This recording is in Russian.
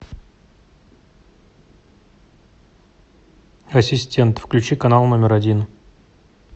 ассистент включи канал номер один